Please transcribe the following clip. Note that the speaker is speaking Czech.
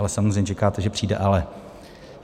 Ale samozřejmě čekáte, že přijde "ale".